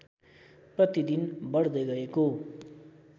प्रतिदिन बढ्दै गएको